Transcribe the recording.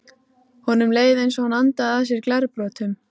Honum leið einsog hann andaði að sér glerbrotum.